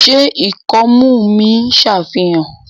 ṣe ikọmu mi n ṣàfihàn?